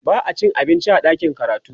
ba'a cin abinci a ɗakin karatu